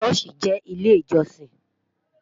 shosi jẹ ilé ìjósìn